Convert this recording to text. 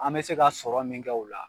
An bɛ se ka sɔrɔ min kɛ o la